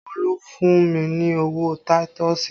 Olu fún mi ní owó táítọ̀sì